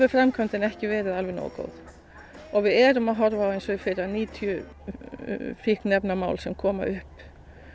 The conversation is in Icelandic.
framkvæmdin ekki verið alveg nógu góð við erum að horfa á eins og í fyrra níutíu fíkniefnamál sem komu upp